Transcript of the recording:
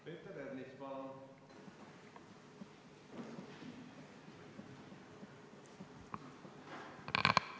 Peeter Ernits, palun!